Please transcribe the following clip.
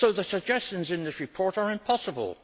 So the suggestions in this report are impossible.